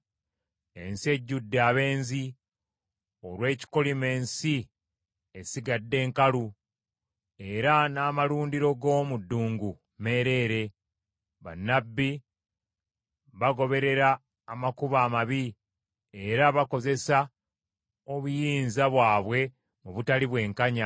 Ensi ejjudde abenzi; olw’ekikolimo ensi esigadde nkalu era n’amalundiro g’omu ddungu meereere. Bannabbi bagoberera amakubo amabi era bakozesa obuyinza bwabwe mu butali bwenkanya.